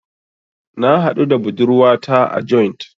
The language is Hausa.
Na haɗu da budurwata a joint.